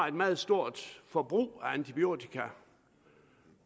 et meget stort forbrug af antibiotika